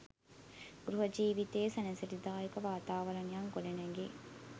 ගෘහ ජීවිතයේ සැනසිලිදායක වාතාවරණයක් ගොඩනැගේ.